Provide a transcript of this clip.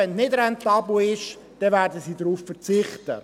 Wenn es nicht rentabel ist, werden sie darauf verzichten.